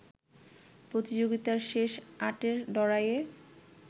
প্রতিযোগিতার শেষ আটের লড়াইয়ে